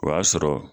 O y'a sɔrɔ